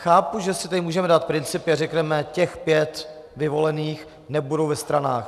Chápu, že si tady můžeme dát principy a řekneme: těch pět vyvolených nebude ve stranách.